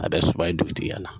A bɛ suban yen dugutigiya la.